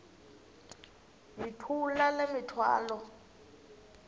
yithula le mithwalo